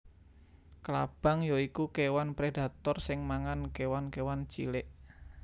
Klabang ya iku kéwan predator sing mangan kéwan kéwan cilik